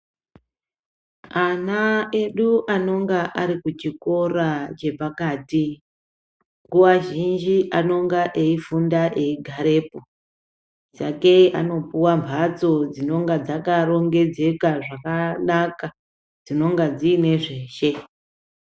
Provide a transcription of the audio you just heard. Ana edu anonga ari kuchikora chepakati nguwa zhinji anonga eyifunda eigarepo. Sakei anopuwe mbatso dzinenge dzakarongedzeka zvakanaka dzinonga dzine zveshe.